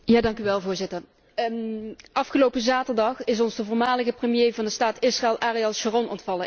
Voorzitter, afgelopen zaterdag is ons de voormalige premier van de staat Israël, Ariel Sharon, ontvallen.